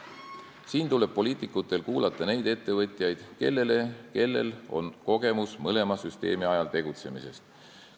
Siin tuleb poliitikutel kuulata neid ettevõtjaid, kellel on kogemus mõlema süsteemi ajal tegutsemisest.